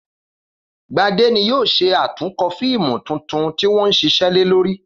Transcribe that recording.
Gbadé ni yóò s̩e àtúnko̩ fíìmù tuntun tí wó̩n ń s̩is̩é̩ lé lórí